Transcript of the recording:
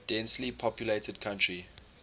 densely populated country